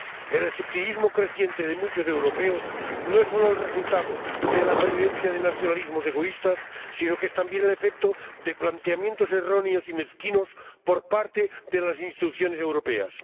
El escepticismo creciente de muchos europeos no es solo el resultado de la pervivencia de nacionalismos egoístas, sino que es también el efecto de planteamientos erróneos y mezquinos por parte de las instituciones europeas.